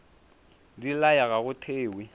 di laya ga go thewe